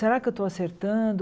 Será que eu estou acertando?